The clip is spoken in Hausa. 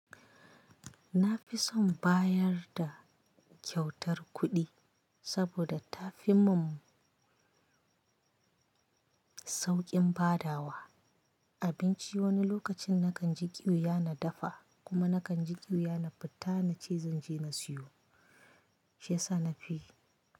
Na fi son bayar da kyautar kuɗi saboda ta fi mun sauƙin badawa. Abinci wani lokacin nakan ji ƙiwiya na dafa kuma nakan ji ƙiwiya na fita na ce zan je na siyo shiyasa na fi.